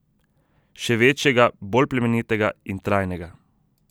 Še večjega, bolj plemenitega in trajnega.